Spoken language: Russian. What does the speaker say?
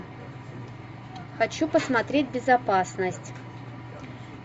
хочу посмотреть безопасность